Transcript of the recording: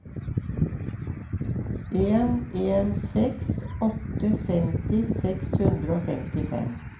en en seks åtte femti seks hundre og femtifem